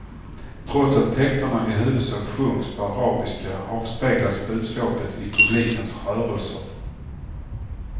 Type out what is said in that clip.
Trots att texterna i huvudsak sjungs på arabiska avspeglas budskapet i publikens rörelser.